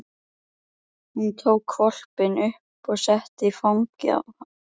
Hún tók hvolpinn upp og setti í fangið á